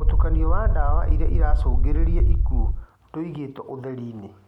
"Mũtukanio wa ndawa iria iracũngĩrĩria ikuũ ndũigĩtwo ũtheri-inĩ